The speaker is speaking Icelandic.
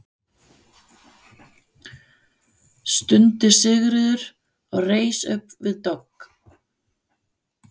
stundi Sigríður og reis upp við dogg.